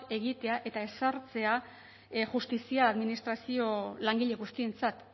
egitea eta ezartzea justizia administrazio langile guztientzat